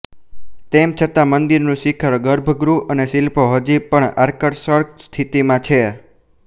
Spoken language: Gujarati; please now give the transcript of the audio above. તેમ છતાં મંદિરનું શિખર ગર્ભગૃહ અને શિલ્પો હજી પણ આકર્ષક સ્થિતિમાં છે